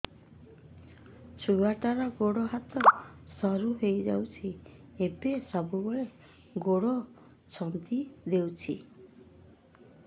ଛୁଆଟାର ଗୋଡ଼ ହାତ ସରୁ ହୋଇଯାଇଛି ଏବଂ ସବୁବେଳେ ଗୋଡ଼ ଛଂଦେଇ ହେଉଛି